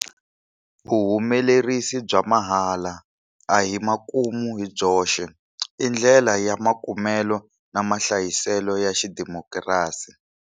Vuhumelerisi bya mahala a hi makumu hi byoxe. I ndlela ya makumelo na mahlayiselo ya xidimokirasi.